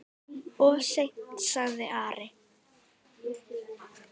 Of seint, sagði Ari.